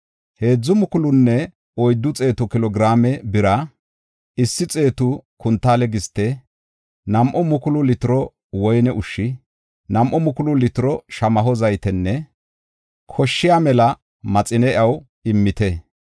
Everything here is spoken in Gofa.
Heedzu mukulunne oyddu xeetu kilo giraame bira, issi xeetu kuntaale giste, nam7u mukulu litiro woyne ushshi, nam7u mukulu litiro shamaho zaytenne koshshiya mela maxine iyaw immite.